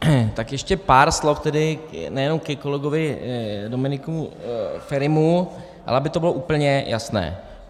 Tak ještě pár slov tedy nejen ke kolegovi Dominiku Ferimu, ale aby to bylo úplně jasné.